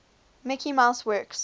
mickey mouse works